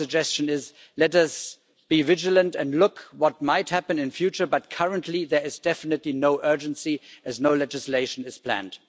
Our suggestion is let us be vigilant as to what might happen in future, but currently there is definitely no urgency, as no legislation is planned.